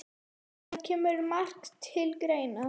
Það kemur margt til greina